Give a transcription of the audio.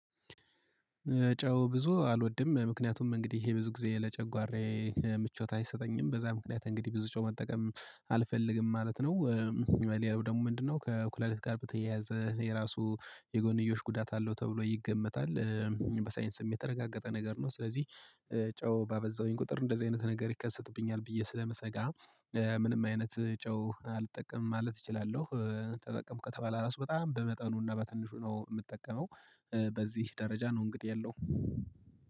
ጨው ብዙ አልወድም ምክንያቱም እንግዲህ ይሄ ብዙ ጊዜ ለጨጓሬ ምቾት አይሰጠኝም በዛ ምክንያት እንግዲህ ብዙ ጨው መጠቀም አልፈልግም ማለት ነው። ሌላው ደግሞ ምንድነው? ከኩላሊት ጋር በተያያዘ የራሱ የጎንዮሽ ጉዳት አለው ተብሎ ይገመታል። በሳይንስም የተረጋገጠ ነገር ነው። ስለዚህ ጨው ባበዛውኝ ቁጥር እንደዚህ አይነት ነገር ይከሰትብኛል ብዬ ስለምሰጋ። ምንም አይነት ጨው አልጠቀምም ማለት እችላለሁ። ተጠቀምኩ ከተባለ ራሱ በጣም በመጠኑና በትንሹ ነው የምጠቀመው። በዚህ ደረጃ ነው እንግዲህ የለውም